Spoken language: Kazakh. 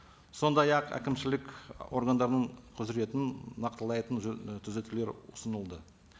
сондай ақ әкімшілік органдардың құзыретін нақтылайтын түзетулер ұсынылды